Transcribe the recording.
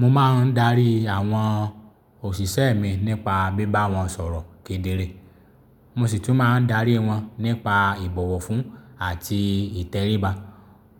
Mo máa ń darí àwọn òṣìṣẹ́ mi nípa bíbá wọn sọ̀rọ̀ kedere, mo sì tún máa ń darí wọn nípa ìbọ̀wọ̀ fún àti ìtẹríba.